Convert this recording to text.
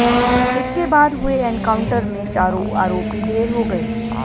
इसके बाद हुए एनकाउंटर में चारों आरोपी ढेर हो गए